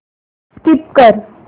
skip कर